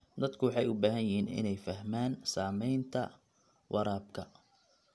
Dadku waxay u baahan yihiin inay fahmaan saamaynta waraabka.